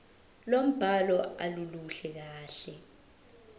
lombhalo aluluhle kahle